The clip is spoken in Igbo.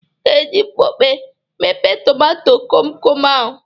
Ị ga-eji mkpọpe mepe tomato komkom ahụ.